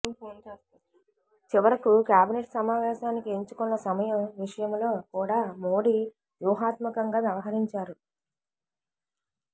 చివరకు కేబినెట్ సమావేశానికి ఎంచుకున్న సమయం విషయంలో కూడా మోడీ వ్యూహాత్మకంగా వ్యవహరించారు